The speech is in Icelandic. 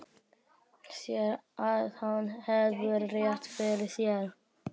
Sér að hann hefur rétt fyrir sér.